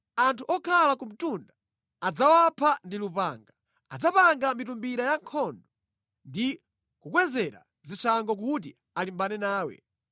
Anthu okhala ku mtunda adzawapha ndi lupanga. Adzapanga mitumbira yankhondo ndi kukukwezera zishango kuti alimbane nawe.